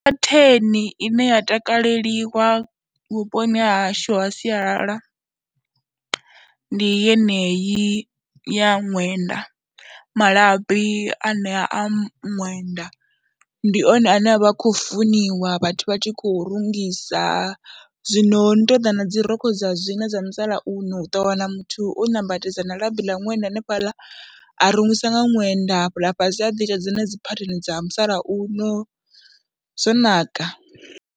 Phetheni ine ya takaleliwa vhuponi ha hashu ha sialala ndi yeneyi ya ṅwenda, malabi a nea a ṅwenda, ndi one ane a vha khou funiwa vhathu vha tshi khou rungisa zwino ho no tou ḓa na dzi rokho dza zwino dza musalauno, u ḓo wana muthu o nambatedza na labi ḽa ṅwenda hanefhaḽa, a rungisa nga ṅwenda hafhaḽa fhasi a ḓi ita dzinedzi phatheni dza musalauno, zwo naka.